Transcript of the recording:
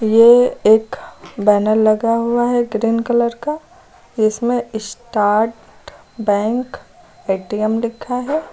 ये एक बैनर लगा हुआ है ग्रीन कलर का इसमें स्टाट बैंक ए_टी_एम लिखा है।